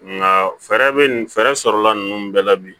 Nka fɛɛrɛ bɛ fɛɛrɛ sɔrɔla ninnu bɛɛ la bi